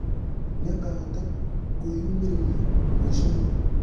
Nĩakahota kũĩumereria ....mũishoinĩ?